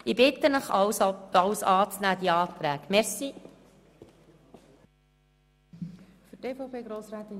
Ich bitte Sie deshalb, alle Planungserklärungen anzunehmen.